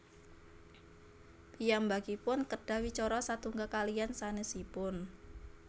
Piyambakipun kedah wicara satunggal kaliyan sanésipun